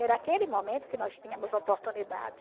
Era aquele momento que nós tínhamos oportunidade.